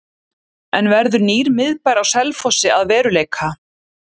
En verður nýr miðbær á Selfossi að veruleika?